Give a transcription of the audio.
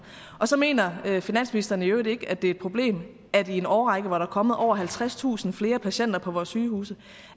og så mener finansministeren i øvrigt ikke at det er et problem at i en årrække hvor der er kommet over halvtredstusind flere patienter på vores sygehuse